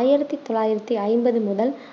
ஆயிரத்தி தொள்ளாயிரத்தி ஐம்பது முதல்